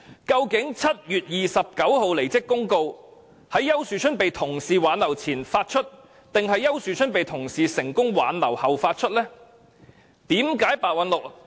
究竟7月29日的離職公告，是在丘樹春被同事挽留前發出，還是丘樹春被同事成功挽留後發出？